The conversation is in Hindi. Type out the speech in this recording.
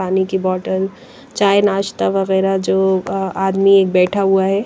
पानी की बोतल चाय नाश्ता वगैरह जो अ अ आदमी एक बैठा हुआ है।